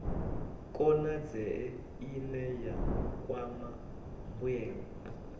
konadzee ine ya kwama mbuelo